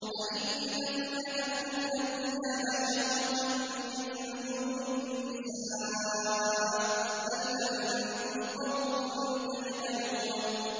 أَئِنَّكُمْ لَتَأْتُونَ الرِّجَالَ شَهْوَةً مِّن دُونِ النِّسَاءِ ۚ بَلْ أَنتُمْ قَوْمٌ تَجْهَلُونَ